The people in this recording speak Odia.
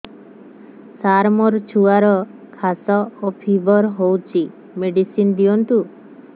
ସାର ମୋର ଛୁଆର ଖାସ ଓ ଫିବର ହଉଚି ମେଡିସିନ ଦିଅନ୍ତୁ